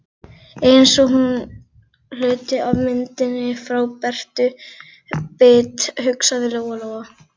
Eins og hluti af myndinni frá Bertu bit, hugsaði Lóa Lóa.